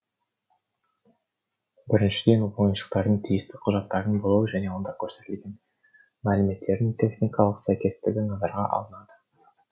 біріншіден ойыншықтардың тиісті құжаттарының болуы және онда көрсетілген мәліметтердің техникалық сәйкестігі назарға алынады